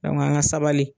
an ka sabali